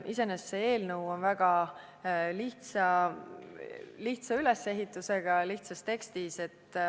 Iseenesest on see eelnõu väga lihtsa ülesehitusega, kirjutatud lihtsa tekstina.